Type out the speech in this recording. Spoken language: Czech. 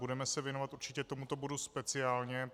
Budeme se věnovat určitě tomuto bodu speciálně.